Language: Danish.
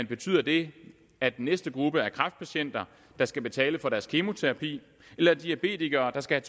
betyder det at den næste gruppe er kræftpatienter der skal betale for deres kemoterapi eller diabetikere der skal